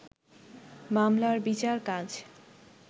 মামলার বিচার কাজ